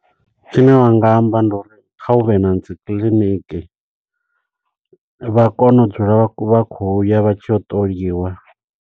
Tshine wanga amba ndi uri kha huvhe na dzi clinic, vha kone u dzula vha vha khou ya vha tshiya u ṱoliwa.